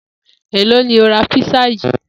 Èló ni o ra písà yìí?